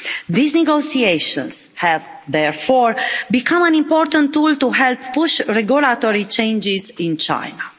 These negotiations have therefore become an important tool to help push regulatory changes in China.